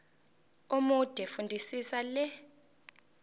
omude fundisisa le